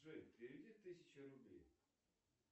джой переведи тысячу рублей